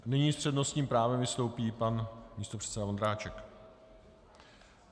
Nyní s přednostním právem vystoupí pan místopředseda Vondráček.